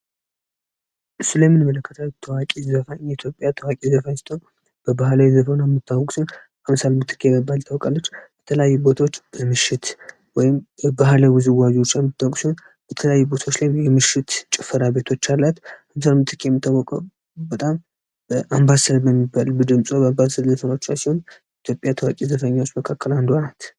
በምስሉ ላይ የምንመለከተ ታዋቂዋ ዘፋኝአምሳል ምትትኬ ናት የኢትዮጵያ ባህላዊ ዘፈን የተለያዩ ቦታዎች ምሽት ወይም የባህላዊ ውዝዋዜውን ጭፈራ ቤቶች በጣም ኢትዮጵያ ታዋቂ ዘፋኞች መካከል አንዱ ናቸው